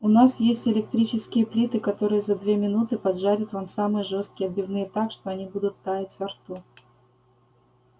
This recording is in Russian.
у нас есть электрические плиты которые за две минуты поджарят вам самые жёсткие отбивные так что они будут таять во рту